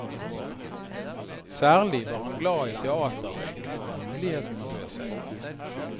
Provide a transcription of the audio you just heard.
Særlig var han glad i teaterrøyk når mulighetene bød seg.